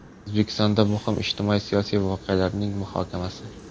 O‘zbekistondagi muhim ijtimoiy-siyosiy voqealarining muhokamasi.